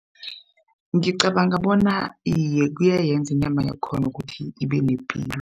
Ngicabanga bona, iye kuyayenza inyama yakhona ukuthi ibe nepilo.